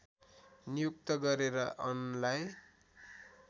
नियुक्त गरेर अनलाई